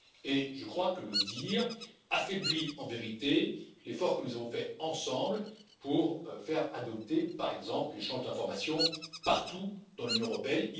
Affirmer le contraire affaiblit en vérité l'effort que nous avons fait ensemble pour faire adopter, par exemple, l'échange d'informations partout dans l'Union européenne.